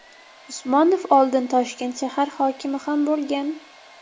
Usmonov oldin Toshkent shahar hokimi ham bo‘lgan .